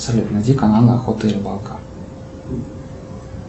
салют найди канал охота и рыбалка